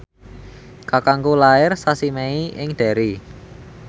kakangku lair sasi Mei ing Derry